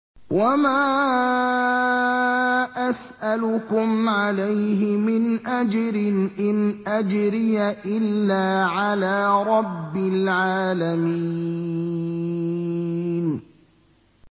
وَمَا أَسْأَلُكُمْ عَلَيْهِ مِنْ أَجْرٍ ۖ إِنْ أَجْرِيَ إِلَّا عَلَىٰ رَبِّ الْعَالَمِينَ